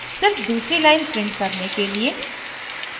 सिर्फ दूसरी line print करने के लिए